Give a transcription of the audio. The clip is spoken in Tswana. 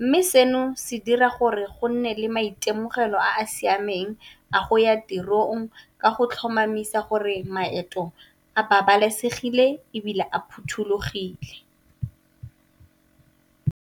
Mme, seno se dira gore go nne le maitemogelo a a siameng a go ya tirong ka go tlhomamisa gore maeto a babalesegile ebile a phothulogile.